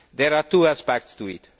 There are two aspects to it.